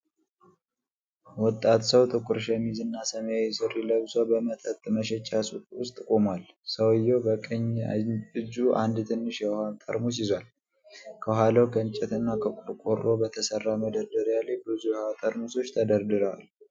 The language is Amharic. ወጣት ሰው ጥቁር ሸሚዝና ሰማያዊ ሱሪ ለብሶ በመጠጥ መሸጫ ውስጥ ቆሟል። ሰውዬው በቀኝ እጁ አንድ ትንሽ የውሃ ጠርሙስ ይዟል። ከኋላው ከእንጨትና ከቆርቆሮ በተሠራ መደርደሪያ ላይ ብዙ የውሃ ጠርሙሶች ተደርድረዋል።